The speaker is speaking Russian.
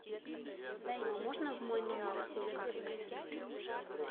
можно в мой номер ужин принести